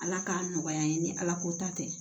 Ala k'a nɔgɔya n ye ni ala ko ta tɛ